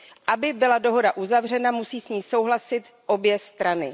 Aby byla dohoda uzavřena, musí s ní souhlasit obě strany.